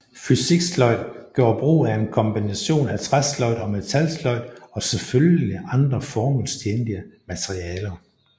Fysiksløjd gjorde brug af en kombination af træsløjd og metalsløjd og selvfølgelig andre formålstjenlige materialer